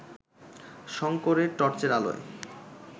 শঙ্করের টর্চের আলোয়